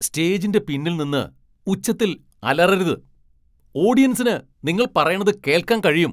സ്റ്റേജിന്റെ പിന്നിൽ നിന്ന് ഉച്ചത്തിൽ അലറരുത്. ഓഡിയൻസിന് നിങ്ങൾ പറയണത് കേൾക്കാൻ കഴിയും .